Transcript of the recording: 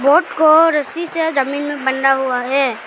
Boat को रस्सी से जमीन में बंधा हुआ है।